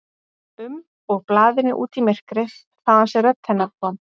um og blaðinu út í myrkrið, þaðan sem rödd hennar kom.